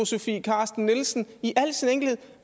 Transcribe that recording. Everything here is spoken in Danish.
sofie carsten nielsen i al sin enkelthed